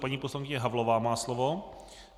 Paní poslankyně Havlová má slovo.